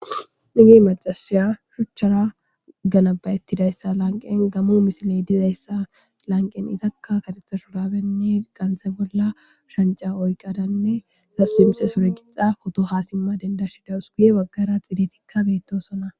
Igi macasiya shuchchara ganabayettidayssa lanqen gammo misiley dizayssa lanqen izakka katetha shoraabenne qansa bolla shanca oyqadanne sasu himse sore gixa hotoha simma dendashida usguye baggara xidetikka beettosona.